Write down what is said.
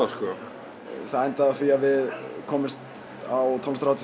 það endaði á því að komumst á tónlistarhátíð sem